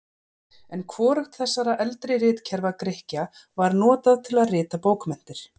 En hvorugt þessara eldri ritkerfa Grikkja var notað til að rita bókmenntir.